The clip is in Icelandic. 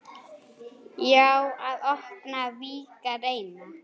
Já, að opna, víkka, reyna.